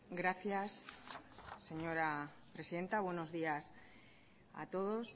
gracias señora presidenta buenos días a todos